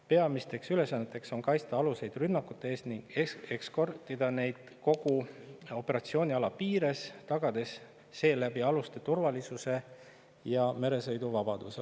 Peamised ülesanded on kaitsta aluseid rünnakute eest ning eskortida neid kogu operatsiooniala piires, tagades seeläbi aluste turvalisuse ja meresõiduvabaduse.